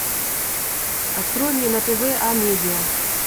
открой мне на тв амедиа